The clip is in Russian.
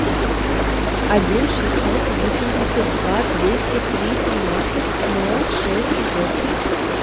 один шестьсот восемьдесят два двести три тринадцать ноль шесть восемь